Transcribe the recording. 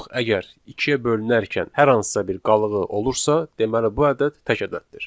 Yox, əgər ikiyə bölünərkən hər hansısa bir qalığı olursa, deməli bu ədəd tək ədəddir.